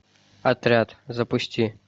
отряд запусти